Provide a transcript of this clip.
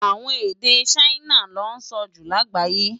Awòn ede Ṣaina lò nsò jú lágbáyé